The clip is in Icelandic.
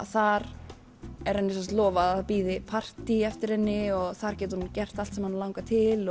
þar er henni lofað að bíði partý eftir henni og þar getur hún gert allt sem hana langar til